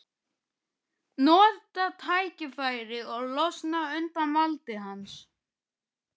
Nota tækifærið og losna undan valdi hans.